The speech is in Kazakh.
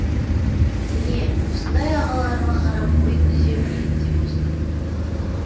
міне осындай ағаларыма қарап ой түзеп еліктеп өстім